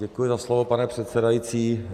Děkuji za slovo, pane předsedající.